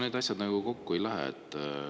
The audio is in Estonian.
Need asjad nagu kokku ei lähe.